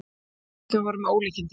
Hamskiptin voru með ólíkindum.